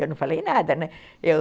Eu não falei nada, né? eu